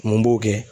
Mun b'o kɛ